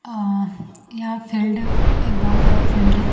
अह यह फील्ड एक बहोत बड़ा फील्ड है।